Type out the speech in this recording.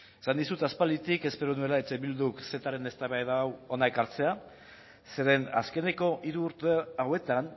esan dizut aspalditik espero nuela eh bilduk cetaren eztabaida hau hona ekartzea zeren azkeneko hiru urte hauetan